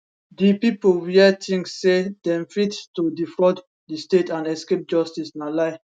di pipo wia tink say dem fit to defraud di state and escape justice na lie